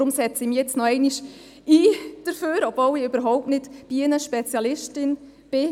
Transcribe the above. Darum setze ich mich hier noch einmal dafür ein, obwohl ich überhaupt nicht Bienenspezialistin bin.